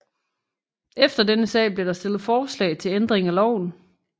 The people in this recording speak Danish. Efter denne sag blev der stillet forslag til ændring af loven